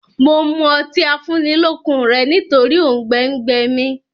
Mo mú ọtí afúnnilọ́kun rẹ nítòrì oùngbẹ gbẹ mí